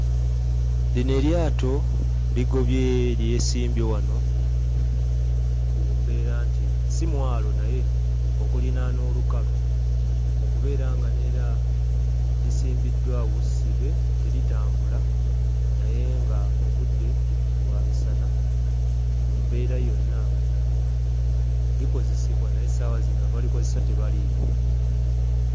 Lino eryato ligobye lyesimbye wano ku mbeera nti si mwalo naye okulinaana olukalu, okubeera nga n'era lisimbiddwa awo ssibe, teritambula naye ng'obudde bwa misana. Mu mbeera yonna, likozesebwa naye essaawa zino abalikozesa tebaliiwo.